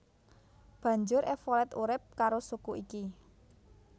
Banjur Evolet urip karo suku iki